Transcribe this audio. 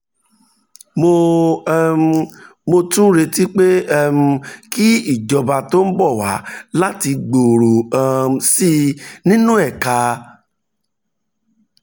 mo um tún retí pé um kí ìjọba tó ń bọ̀ wá láti gbòòrò um sí i nínú ẹ̀ka